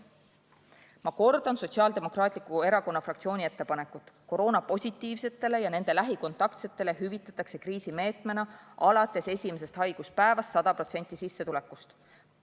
Ma kordan Sotsiaaldemokraatliku Erakonna fraktsiooni ettepanekut, et koroonapositiivsetele ja nende lähikontaktsetele hüvitataks kriisimeetmena alates esimesest haiguspäevast 100% sissetulekust.